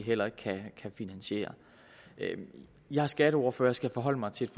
heller ikke kan finansiere jeg er skatteordfører og skal forholde mig til